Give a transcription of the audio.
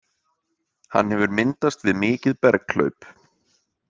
Hann hefur myndast við mikið berghlaup.